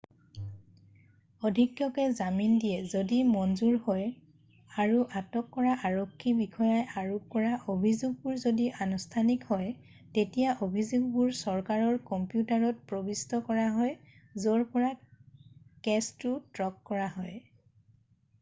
অধীক্ষকে জামিন দিয়ে যদি মঞ্জুৰ হয় আৰু আটক কৰা আৰক্ষী বিষয়াই আৰোপ কৰা অভিযোগবোৰ যদি আনুষ্ঠানিক হয় তেতিয়া অভিযোগবোৰ চৰকাৰৰ কম্পিউটাৰত প্ৰৱিষ্ট কৰা হয় য'ৰ পৰা কেছটো ট্ৰেক কৰা হয়